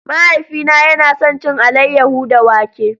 Mahaifina yana son cin alayyahu da wake.